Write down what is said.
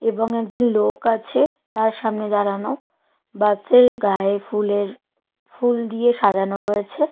এবং একজন লোক আছে তার সামনে দাঁড়ানো বাসের গায়ে ফুলের ফুল দিয়ে সাজানো রয়েছে।